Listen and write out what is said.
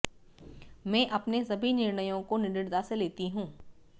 मैं अपने सभी निर्णयों को निडरता से लेती हूं